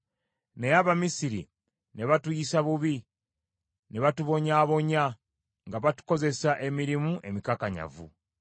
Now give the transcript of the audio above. Naye Abamisiri ne batuyisa bubi, ne batubonyaabonya, nga batukozesa emirimu emikakanyavu.